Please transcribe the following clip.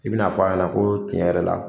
I bi na fɔ a ɲɛna ko tiɲɛ yɛrɛ la